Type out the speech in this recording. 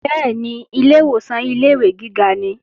Bẹ́ẹ̀ni, ilè ìwòsàn ilé-ìwé gíga nìí